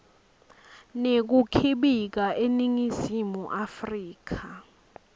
nekukhibika eningizimu afrika